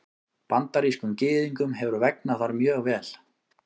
Bandarískum Gyðingum hefur vegnað þar mjög vel.